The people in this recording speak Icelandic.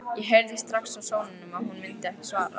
Ég heyrði strax á sóninum að hún myndi ekki svara.